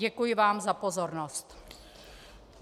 Děkuji vám za pozornost.